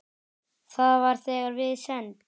Það var þegar við send